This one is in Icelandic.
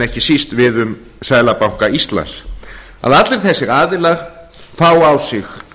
ekki síst við um seðlabanka íslands að allir þessir aðilar fái á sig